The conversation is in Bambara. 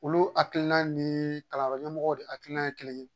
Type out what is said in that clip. Olu hakilina ni kalandenw de hakilina ye kelen ye